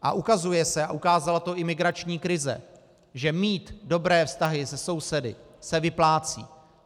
A ukazuje se, a ukázala to i migrační krize, že mít dobré vztahy se sousedy se vyplácí.